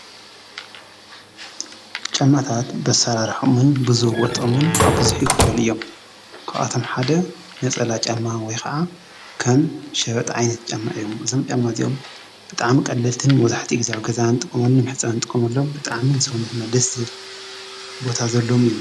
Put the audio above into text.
ጫማታት ብኣሰራርሐኦምን ብዝውጠኦምን ኣብ ቡዙሕ ይክፈሉ እዮም፡፡ ካብኣቶም ሓደ ነፀላ ጫማ ወይ ከዓ ከም ሸበጥ ዓይነት ጫማ እዮም፡፡ እዞም ጫማ እዚኦም ብጣዕሚ ቀለልትን መብዛሕትኡ ግዜ ኣብ ገዛና እንጥቀመሉ መሕፀቢ እንጥቀመሎም ብጣዕሚ ንሰውነትና ደስ ዝብል ቦታ ዘለዎም እዩ፡፡